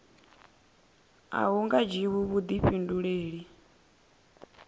a hu nga dzhiwi vhuḓifhinduleli